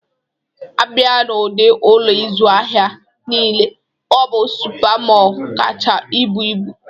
A bịa n'ụdi Ụlọ ịzụ ahịa nile, ọ bụ Supa Mọl kacha buo ibu